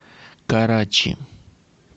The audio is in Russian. карачи